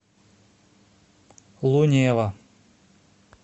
лунева